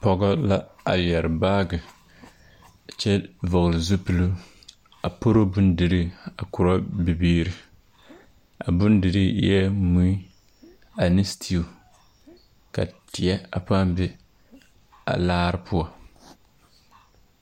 Pɔgego la a yere baagye kyɛ vɔgle zupele a poro bondire a kore noba a bondire eɛ mui ane stew ka teɛ a paa de a laare poɔ.